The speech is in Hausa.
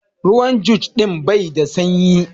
Ruwan jug din bai da sanyi.